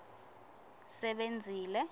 sebenzile